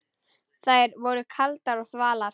Þær voru kaldar og þvalar.